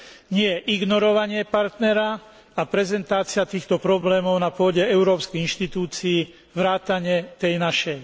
Nie ignorovanie partnera a prezentácia týchto problémov na pôde európskych inštitúcií vrátane tej našej.